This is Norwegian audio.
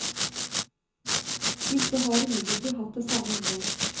Disse har imidlertid hatt det samme innhold.